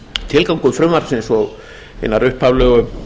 tilgangur frumvarpsins og hinnar upphaflegu